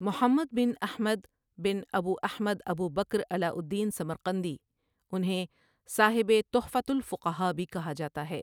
محمد bin Ahmad bin Abu Ahmad Abu Bakr Alauddin Samarqandi انہیں صاحب Tuhfat al-Fuqaha بھی کہا جاتا ہے۔